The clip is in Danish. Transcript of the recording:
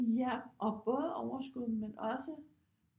Ja og både overskud men også